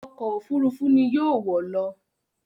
Ọkọ̀ òfurufú ni yóò wọ̀ lọ